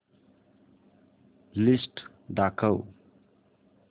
list दाखव